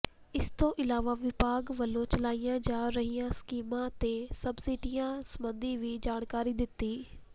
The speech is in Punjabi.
ਇਸ ਤੋਂ ਇਲਾਵਾ ਵਿਭਾਗ ਵੱਲੋਂ ਚਲਾਈਆਂ ਜਾ ਰਹੀਆਂ ਸਕੀਮਾਂ ਤੇ ਸਬਸਿਡੀਆਂ ਸਬੰਧੀ ਵੀ ਜਾਣਕਾਰੀ ਦਿੱਤੀ